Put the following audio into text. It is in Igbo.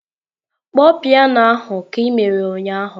Kpọọ piano ahụ ka ị mere ụnyaahụ!